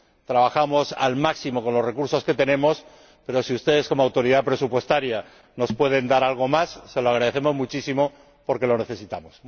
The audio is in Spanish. Trabajamos al máximo con los recursos que tenemos, pero si ustedes como Autoridad Presupuestaria nos pueden dar algo más, se lo agradecemos muchísimo porque lo necesitamos.